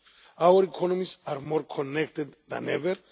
Our economies are more connected than ever.